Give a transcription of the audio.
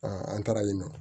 an taaralen nɔ